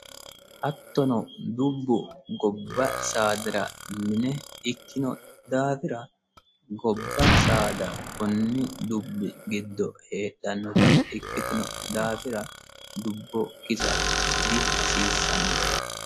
Hattono dubbu gobba saadara mine ikkino daafira gobba saada koni dubbi giddo heedhanotta ikkitino daafira dubbo kisa dihasiisano.